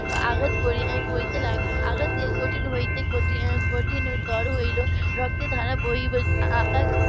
আঘাত করতে লাগলো আঘাত কঠিন হতে কঠিনতর হতে লাগলো রক্তের ধারা .